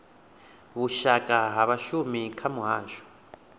vhushaka ha vhashumi kha muhasho